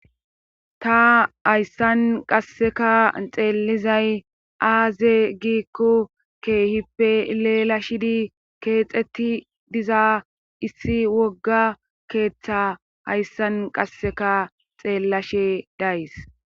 ta hayssan qasseka xeellizay aaze giikko keehippe leelashidi keexetti diza issi wogga keeththa hayssan qasseka xeellashe days